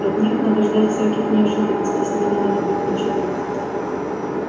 от них надо ждать всяких неожиданностей с ними надо быть начеку